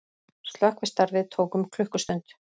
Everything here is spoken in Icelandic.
Slökkvistarfið tók um klukkustund